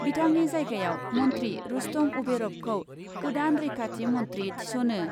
बिथांनि जायगायाव मन्थ्रि रुस्तम उभेरभखौ गोदान रैखाथि मन्थ्रि थिस'नो।